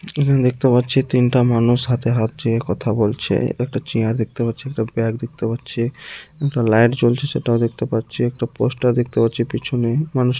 এখানে দেখতে পাচ্ছি তিনটা মানুষ হাতে হাত চেয়ে কথা বলছে। একটা চিয়ার দেখতে পাচ্ছি। একটা ব্যাগ দেখতে পাচ্ছি। একটা লাইট জ্বলছে সেটাও দেখতে পাচ্ছি। একটা পোস্টার দেখতে পাচ্ছি পিছনে। মানুষ --